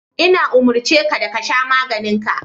Ina umurce ka da ka sha maganin ka.